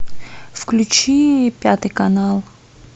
включи пятый канал